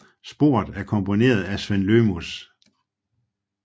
Sporet er komponeret af Sven Lõhmus